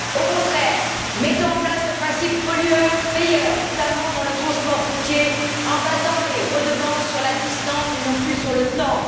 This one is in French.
Au contraire, mettons en place le principe du pollueur payeur, notamment dans le transport routier, en basant les redevances sur la distance et non plus sur le temps.